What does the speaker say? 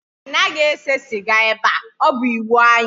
Anaghị ese sịga ebe a, ọ bụ iwu anyị